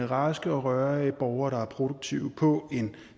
raske og rørige borgere der er produktive på en